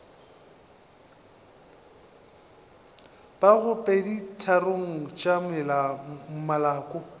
ka bago peditharong tša maloko